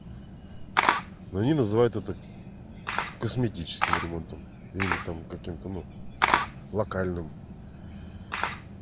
они называют это косметическим ремонтом или там каким-то ну локальным